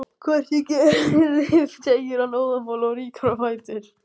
Hvort ég geri, segir hann óðamála og rýkur á fætur.